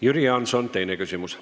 Jüri Jaanson, teine küsimus.